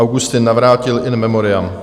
Augustin Navrátil, in memoriam.